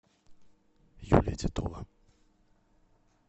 юлия титова